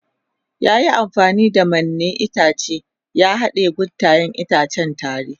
Ya yi amfani da mannen itace ya haɗa guntayen itacen tare.